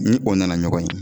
Ni o nana ɲɔgɔn ye